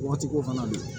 Waati ko fana na